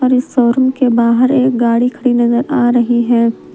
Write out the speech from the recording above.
और इस शोरूम के बाहर एक गाड़ी खड़ी नजर आ रही है।